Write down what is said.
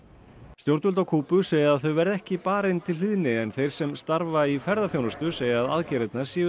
stjórnvöld á Kúbu segja að þau verði ekki barin til hlýðni en þeir sem starfa í ferðaþjónustu segja að aðgerðirnar séu